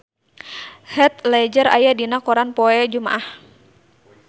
Heath Ledger aya dina koran poe Jumaah